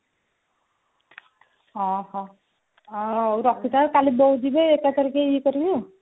ଅହଉ ରଖିଥାଅ କାଲି ବୋଉ ଯିବେ ଏକାଥରେ ଇଏ କରିବେ ଆଉ